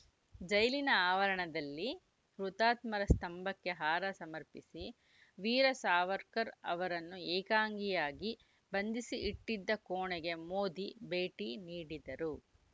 ಜೈಲಿನ ಆವರಣದಲ್ಲಿ ಹುತಾತ್ಮರ ಸ್ತಂಭಕ್ಕೆ ಹಾರ ಸಮರ್ಪಿಸಿ ವೀರ ಸಾವರ್ಕರ್‌ ಅವರನ್ನು ಏಕಾಂಗಿಯಾಗಿ ಬಂಧಿಸಿ ಇಟ್ಟಿದ್ದ ಕೋಣೆಗೆ ಮೋದಿ ಭೇಟಿ ನೀಡಿದರು